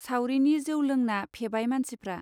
सावरिनि जौ लोंना फेबाय मानसिफ्रा.